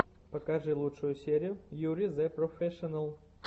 покажи лучшую серию юри зэ профэшинал